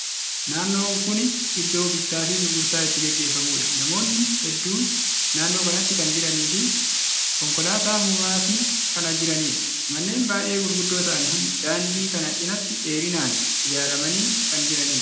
Naannon kuni iddoo bittaa fi gurgurtaan itti gaggeeffamuudha. Namootni hedduun naannoo kanatti kan jiranii fi konkolaataa muraasni kan jiraniidha. Manneen baay'ee gurguddoo ta'an daandii kana cinaatti dheerinaan ijaaramanii kan jiraniidha.